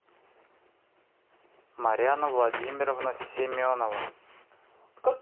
маряна владимировна семенова